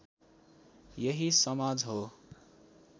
यही समाज हो